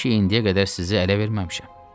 Mən ki indiyə qədər sizi ələ verməmişəm.